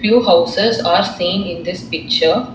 two houses are seen in this picture